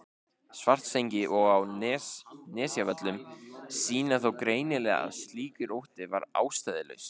Svartsengi og á Nesjavöllum sýna þó greinilega að slíkur ótti var ástæðulaus.